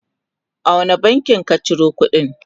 a wani bankin ka Ciro kudin?